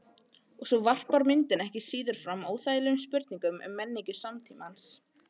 Og svo varpar myndin ekki síður fram óþægilegum spurningum um menningu samtímans.